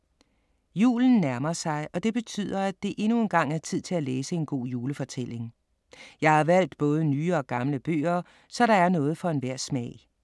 Julen nærmer sig, og det betyder, at det endnu engang er tid til at læse en god julefortælling. Jeg har valgt både nye og gamle bøger, så der er noget for enhver smag.